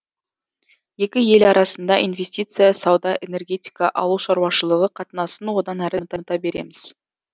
екі ел арасында инвестиция сауда энергетика ауыл шаруашылығы қатынасын одан әрі дамыта береміз